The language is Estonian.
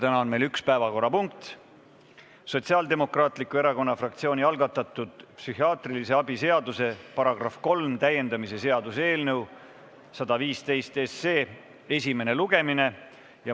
Täna on meil üks päevakorrapunkt: Sotsiaaldemokraatliku Erakonna fraktsiooni algatatud psühhiaatrilise abi seaduse § 3 täiendamise seaduse eelnõu 115 esimene lugemine.